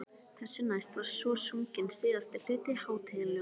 Þessu næst var svo sunginn síðasti hluti hátíðaljóðanna.